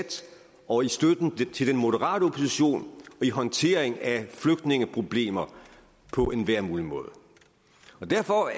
og i støtten til den moderate opposition og i håndteringen af flygtningeproblemer på enhver mulig måde derfor